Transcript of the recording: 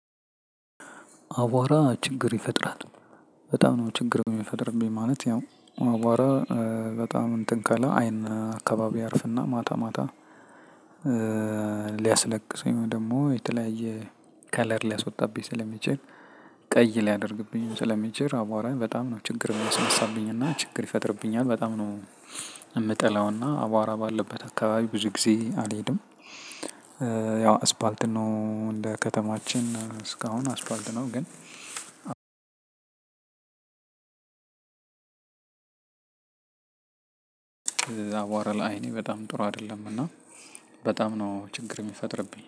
አዋራ ችግር ይፈጥራል። በጣም ነው ችግር ሚፈጥርብኝ ማለት ያው አዋራ በጣም እንትን ካለ አይን አካባቢ ያርፍና ማታ ማታ ሊያስለቅሰኝ ወይም ደግሞ የተለያየ ከለር ሊያስወጣብኝ ስለሚችል። ቀይ ሊያደርግብኝ ስለሚችል አቧራ በጣም ነው ችግር ሚያስነሳብኝ እና ችግር ይፈጥርብኛል በጣም ነው። ምጠላው እና አቧራ ባለበት አካባቢ ብዙ ጊዜ አልሄድም። ያው አስፓልት ነው እንደ ከተማችን እስካሁን አስፓልት ነው ግን። እዛ አቧራ ለአይኔ በጣም ጥሩ አይደለም እና። በጣም ነው ችግር ሚፈጥርብኝ